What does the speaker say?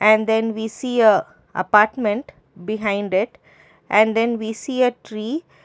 and then we see a apartment behind it and then we see a tree.